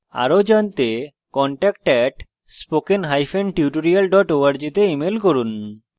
আরো জানতে contact @spokentutorial org তে ইমেল করুন